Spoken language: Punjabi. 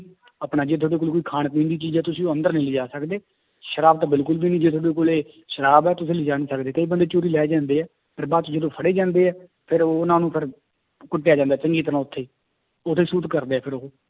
ਆਪਣਾ ਜੇ ਤੁਹਾਡੇ ਕੋਲ ਕੋਈ ਖਾਣ ਪੀਣ ਦੀ ਚੀਜ਼ ਹੈ ਤੁਸੀਂ ਉਹ ਅੰਦਰ ਨੀ ਲਿਜਾ ਸਕਦੇ, ਸ਼ਰਾਬ ਤਾਂ ਬਿਲਕੁਲ ਵੀ ਨੀ, ਜੇ ਤੁਹਾਡੇ ਕੋਲੇ ਸ਼ਰਾਬ ਹੈ ਤੁਸੀਂ ਲਿਜਾ ਨੀ ਸਕਦੇ ਕਈ ਬੰਦੇ ਚੋਰੀ ਲੈ ਜਾਂਦੇ ਹੈ ਫਿਰ ਬਾਅਦ ਚ ਜਦੋਂ ਫੜੇ ਜਾਂਦੇ ਹੈ ਫਿਰ ਉਹਨਾਂ ਨੂੰ ਫਿਰ ਕੁੱਟਿਆ ਜਾਂਦਾ ਚੰਗੀ ਤਰ੍ਹਾਂ ਉੱਥੇ ਉੱਥੇ shoot ਕਰਦੇ ਆ ਫਿਰ ਉਹ।